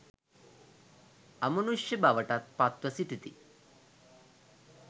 අමුනුෂ්‍ය බවටත් පත්ව සිටිති